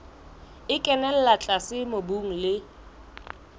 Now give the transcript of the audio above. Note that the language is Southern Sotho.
e kenella tlase mobung le